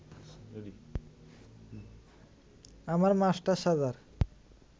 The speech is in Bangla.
আমার মাস্টার সাজার